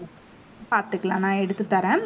பாத்துக்கலாம். நான் எடுத்து தர்றேன்